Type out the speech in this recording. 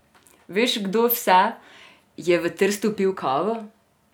Veš, kdo vse je v Trstu pil kavo?